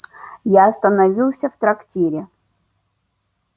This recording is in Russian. я остановился в трактире